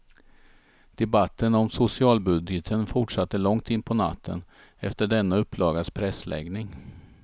Debatten om socialbudgeten fortsatte långt in på natten, efter denna upplagas pressläggning.